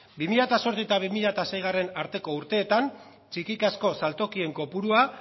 bi mila zortzi eta bi mila seigarrena arteko urteetan txikikazko saltokien kopurua